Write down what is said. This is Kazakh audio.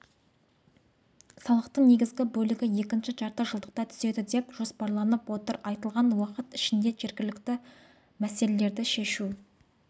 салықтың негізгі бөлігі екінші жартыжылдықта түседі деп жоспарланып отыр айтылған уақыт ішінде жергілікті мәселелерді шешу